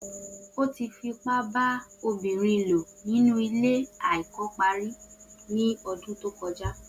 O ti fipa ba obinrin lo ninu ile ti ko pari ni ọdun to kọja